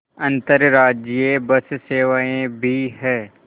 अंतर्राज्यीय बस सेवाएँ भी हैं